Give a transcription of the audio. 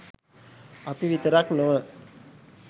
අපි විතරක් නොව